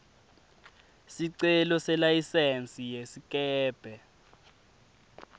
sicelo selayisensi yesikebhe